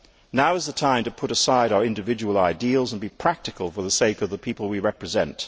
Now is the time to put aside our individual ideals and be practical for the sake of the people we represent.